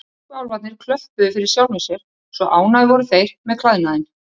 Tískuláfarnir klöppuðu fyrir sjálfum sér, svo ánægðir voru þeir með klæðnaðinn.